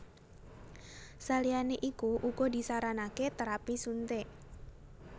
Saliyané iku uga disaranaké térapi suntik